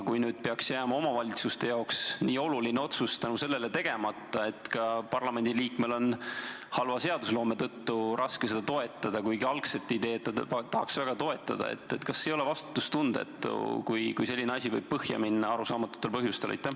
Kui nüüd peaks jääma omavalitsustele nii oluline otsus sellepärast tegemata, et ka parlamendiliikmel on halva seadusloome tõttu raske seda toetada, kuigi ta algset ideed tahaks väga toetada, siis kas see ei ole vastutustundetu, kui selline asi võib põhja minna arusaamatutel põhjustel?